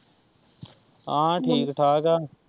ਹਾਂ ਠੀਕ-ਠਾਕ ਏ।